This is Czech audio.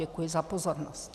Děkuji za pozornost.